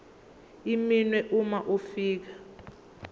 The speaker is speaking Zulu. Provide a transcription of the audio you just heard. iminwe uma ufika